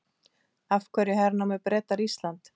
Af hverju hernámu Bretar Ísland?